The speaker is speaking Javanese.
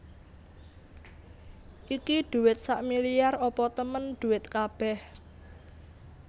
Iki dhuwit sakmiliar apa temen dhuwit kabeh